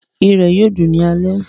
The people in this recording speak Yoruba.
Irẹ̀ yóò dùn ní alẹ́